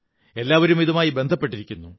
എല്ലാവരും ഇതുമായി ബന്ധപ്പെട്ടിരിക്കുന്നു